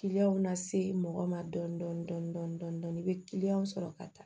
na se mɔgɔ ma dɔɔnin dɔɔnin i bɛ sɔrɔ ka taa